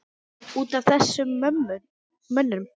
Út af þessum mönnum?